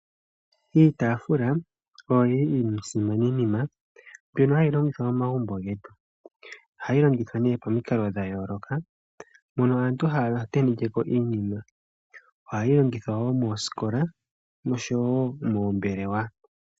Iitafula oyo yili iisimani nima, mbyono hayi longithwa momagumbo getu. Ohayi longithwa ne pomikalo dha yooloka, mono aantu haya tenekeko iinima, ohayi longithwa wo moosikola, noshowo moombelewa.